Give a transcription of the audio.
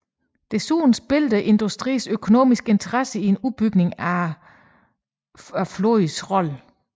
Desuden spillede industriens økonomiske interesse i en udbygning af flåden en rolle